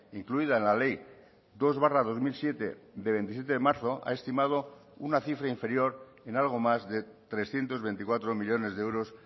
incluida en la ley dos barra dos mil siete de veintisiete de marzo ha estimado una cifra inferior en algo más de trescientos veinticuatro millónes de euros